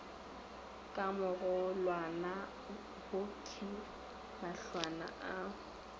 ka mogolwana wokhwi mahlwana a